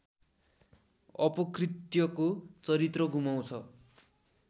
अपकृत्यको चरित्र गुमाउँछ